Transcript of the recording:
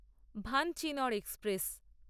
Vanchinad express